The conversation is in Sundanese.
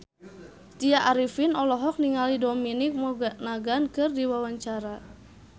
Tya Arifin olohok ningali Dominic Monaghan keur diwawancara